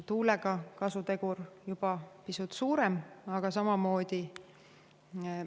Tuule kasutegur on juba pisut suurem, aga samamoodi.